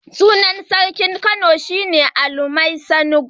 Sunan sarkin Kano na farko shi ne Alu Mai Sango.